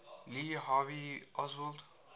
lee harvey oswald